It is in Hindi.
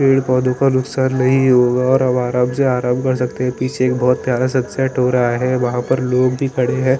पेड़ पौधों का नुकसान नहीं होगा और हम आराम से आराम कर सकते है पीछे एक बहुत प्यारा सन्सेट हो रहा है वहाँ पर लोग भी खड़े है ।